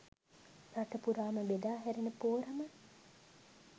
රට පුරාම බෙදා හැරෙන පෝරම